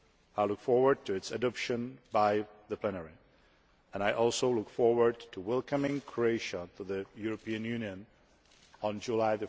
I look forward to its adoption by the plenary and I also look forward to welcoming Croatia to the European Union on 1 July